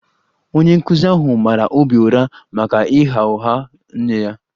Onye nkụzi ahụ mara Obi ụra maka ịgha ụgha nye ya